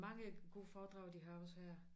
Mange gode foredrag de har også her